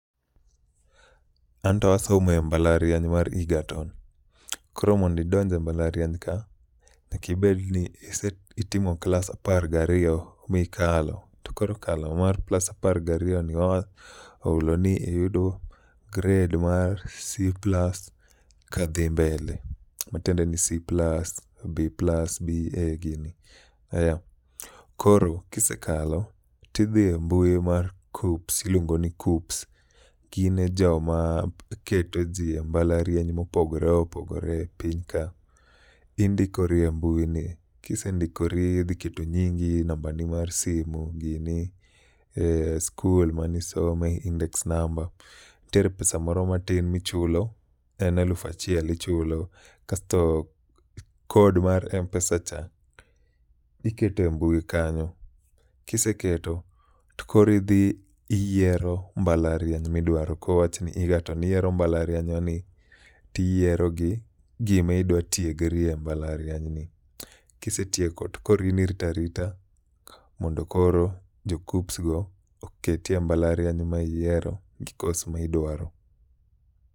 Anto asomo e mbalariany mar Egerton, koro mondidonj e mbalariany ka nyakibed ni ise itimo klas apar gariyo mikalo. To koro kala moar klas apar gariyoni oulo ni iyudo gred mar C+ ka dhi mbele. Matiende ni C+, B+, B, A gini, aya koro kisekalo tidhi e mbui mar KUCCPS iluongo ni KUCCPS. Gin e jo ma keto ji e mbalariany mopogore opogore piny ka, indikori e mbui ni. Kisendikori idhi keto nyingi, nambani mar simu gini, skul mane isome, index number. Ntiere pesa moro matin michulo, en alufachiel ichulo. Kasto kod mar Mpesa cha ikete mbui kanyo. Kiseketo to koro idhi iyiero mbalariany midwaro. Kowachni Egerton iyiero mbalariany no ni tiyiero gi gima idwa tiegri e mbalariany ni. Kisetieko to koro in iritarita mondo koro jo KUCCPS go oketi e mbalariany ma iyiero gi kos ma idwaro.